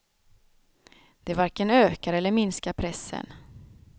Det varken ökar eller minskar pressen.